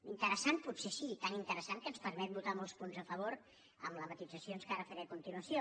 inte·ressant potser sí tan interessant que ens permet votar molts punts a favor amb les matisacions que ara faré a continuació